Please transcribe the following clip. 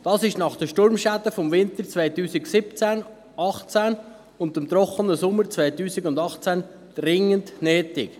Das ist nach den Sturmschäden des Winters 2017/18 und dem trockenen Sommer 2018 dringend nötig.